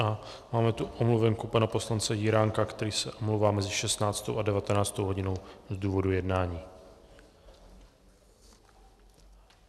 A máme tu omluvenku pana poslance Jiránka, který se omlouvá mezi 16. a 19. hodinou z důvodu jednání.